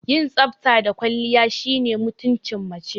Yin tsafta da kwalliya shine mutumcin mace